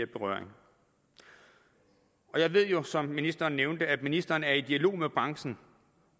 berøring jeg ved jo som ministeren nævnte at ministeren er i dialog med branchen